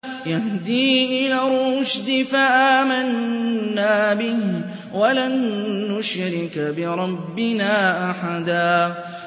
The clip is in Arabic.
يَهْدِي إِلَى الرُّشْدِ فَآمَنَّا بِهِ ۖ وَلَن نُّشْرِكَ بِرَبِّنَا أَحَدًا